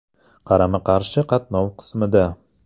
Qarama-qarshi qatnov qismida.